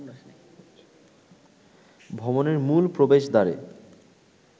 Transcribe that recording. ভবনের মূল প্রবেশদ্বারে